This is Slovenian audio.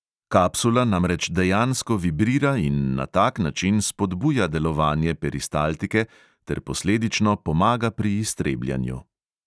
Kapsula namreč dejansko vibrira in na tak način spodbuja delovanje peristaltike ter posledično pomaga pri iztrebljanju.